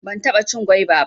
Ban taɓa cin gwaiba ba